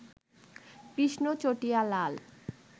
কৃষ্ণ চটিয়া লাল